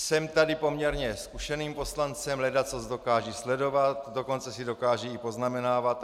Jsem tady poměrně zkušeným poslancem, ledacos dokážu sledovat, dokonce si dokážu i poznamenávat.